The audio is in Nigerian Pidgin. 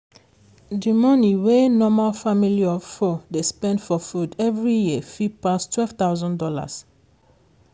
di money wey normal family of four people dey spend for food every year fit pass $12000.